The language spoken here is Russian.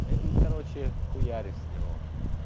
эй короче хуярю с него